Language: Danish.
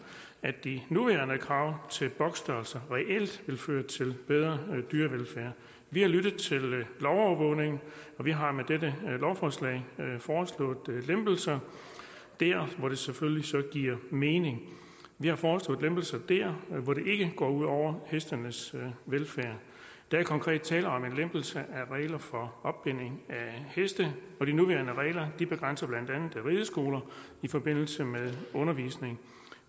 at de nuværende krav til boksstørrelser reelt vil føre til bedre dyrevelfærd vi har lyttet til lovovervågningen og vi har med dette lovforslag foreslået lempelser der hvor det selvfølgelig så giver mening vi har foreslået lempelser der hvor det ikke går ud over hestenes velfærd der er konkret tale om en lempelse af regler for opbinding af heste og de nuværende regler begrænser blandt andet rideskoler i forbindelse med undervisning